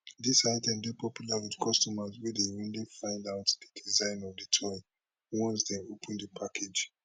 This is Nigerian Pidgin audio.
dis items dey popular with customers wey dey only find out di design of di toy once dem open di package